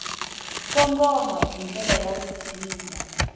kongoma hi ndlela ya vutshila